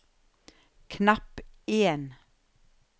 knapp en